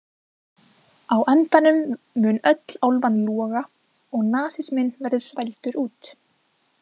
Á endanum mun öll álfan loga og nasisminn verður svældur út.